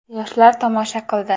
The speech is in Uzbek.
Yoshlar tomosha qildi.